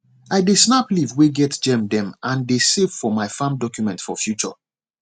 i dey snap leaf way get germ dem and dey save for my farm document for future